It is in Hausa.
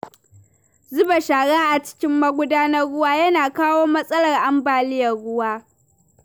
Zuba shara a cikin magudanan ruwa yana kawo matsalar ambaliyar ruwa.